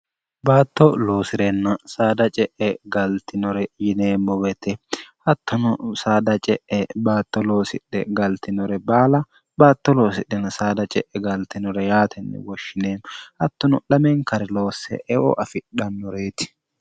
baatto loosi'renna saada ce'e galtinore yineemmo beete hattono saada ce'e baatto loosidhe galtinore baala baatto loosidhenn saada ce'e gaaltinore yaatenni woshshineenno hattono lameenkariloosse eo afidhannureeti